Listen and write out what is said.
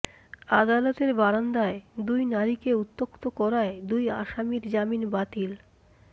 আদালতের বারান্দায় দুই নারীকে উত্ত্যক্ত করায় দুই আসামির জামিন বাতিল